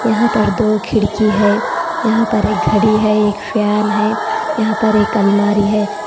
यहां पर दो खिड़की है यहां पर एक घड़ी है एक फैन है यहां पर एक अलमारी है।